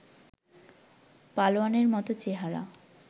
পালোয়ানের মতো চেহারা